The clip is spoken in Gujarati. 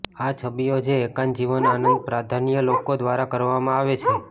આ છબીઓ જે એકાંત જીવન આનંદ પ્રાધાન્ય લોકો દ્વારા કરવામાં આવે છે